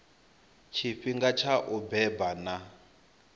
tshifhinga tsha u beba na